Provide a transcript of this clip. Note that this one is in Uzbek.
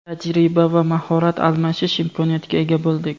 tajriba va mahorat almashish imkoniyatiga ega bo‘ldik.